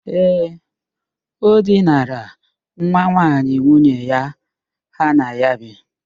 Ee, o dinara nwa nwaanyị nwunye ya ha na ya bi.